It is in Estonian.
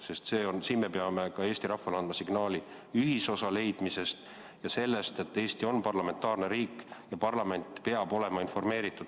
Sest siin me peame ka Eesti rahvale andma signaali ühisosa leidmisest ja sellest, et Eesti on parlamentaarne riik ja parlament peab olema informeeritud.